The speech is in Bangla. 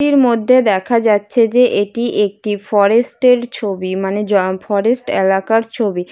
ছবিটির মধ্যে দেখা যাচ্ছে যে এটি একটি ফরেস্টে এর ছবি মানে জয় ফরেস্ট এলাকার ছবি।